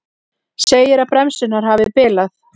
Segir að bremsurnar hafi bilað